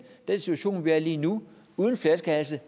den situation vi er i lige nu uden flaskehalse